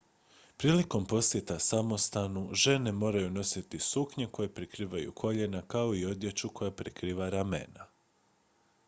prilikom posjeta samostanu žene moraju nositi suknje koje prekrivaju koljena kao i odjeću koja prekriva ramena